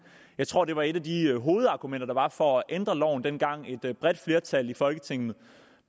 jeg tror at det var et af de hovedargumenter der var for at ændre loven dengang et bredt flertal i folketinget